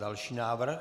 Další návrh.